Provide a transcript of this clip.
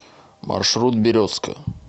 маршрут березка